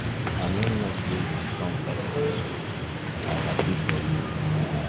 i no know say you strong like dis oo i happy for you.